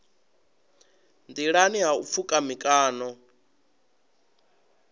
nḓilani ha u pfuka mikano